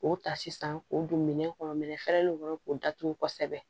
O ta sisan k'o don minɛn kɔnɔ minɛn fɛrɛlen kɔnɔ k'o datugu kosɛbɛ